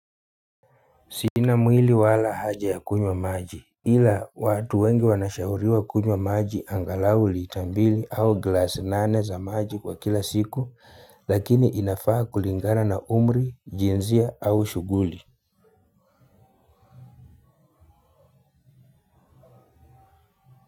Sina mwili wala haja ya kunywa maji ila watu wengi wanashauriwa kunywa maji angalau lita mbili au glasi nane za maji kwa kila siku lakini inafaa kulingana na umri, jinsia, au shuguli.